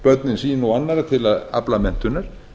börnin sín og annarra til að afla menntunar